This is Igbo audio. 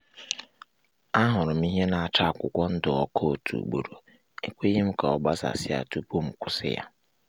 ahụrụ m ihe na-acha akwụkwọ ndụ ọkụ otu ugboro ekweghi'm ka ọ gbasasị tupu m kwusi-ya